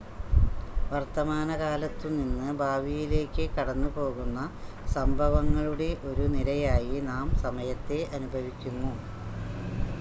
വർത്തമാനകാലത്തു നിന്ന് ഭാവിയിലേക്ക് കടന്നുപോകുന്ന സംഭവങ്ങളുടെ ഒരു നിരയായി നാം സമയത്തെ അനുഭവിക്കുന്നു